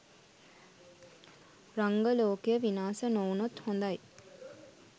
රංග ලෝකය විනාස නොවුනොත් හොඳයි